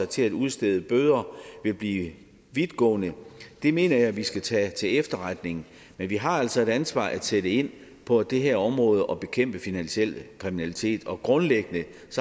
til at udstede bøder vil blive vidtgående det mener jeg vi skal tage til efterretning men vi har altså et ansvar at sætte ind på det her område og bekæmpe finansiel kriminalitet grundlæggende